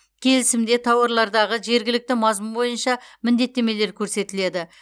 келісімде тауарлардағы жергілікті мазмұн бойынша міндеттемелер көрсетіледі